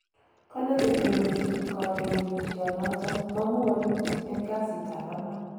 Kole chetonojin kolewenisionoton mongu wolutiik en kasiitab angwan.